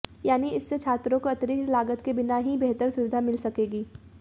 यानी इससे छात्रों को अतिरिक्त लागत के बिना ही बेहतर सुविधा मिल सकेगी